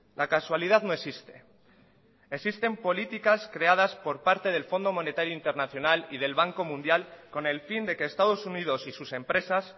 la casualidad no existe existen políticas creadas por parte del fondo monetario internacional y del banco mundial con el fin de que estados unidos y sus empresas